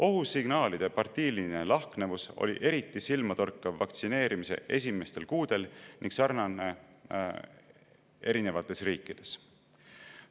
Ohusignaalide partiiline lahknevus oli eriti silmatorkav vaktsineerimise esimestel kuudel ning sarnane erinevates riikides.